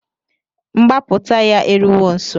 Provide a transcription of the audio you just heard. Mgbaputa ya eruwo nso